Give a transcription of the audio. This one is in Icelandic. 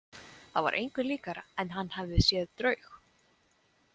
Það var engu líkara en hann hefði séð draug.